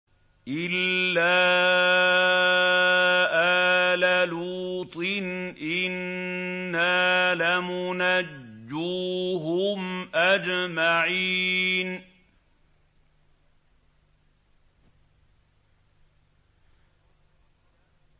إِلَّا آلَ لُوطٍ إِنَّا لَمُنَجُّوهُمْ أَجْمَعِينَ